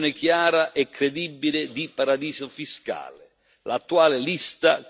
Vogliamo poi una definizione chiara e credibile di paradiso fiscale.